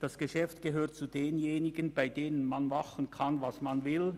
Das Geschäft gehört zu denjenigen, bei denen man machen kann, was man will: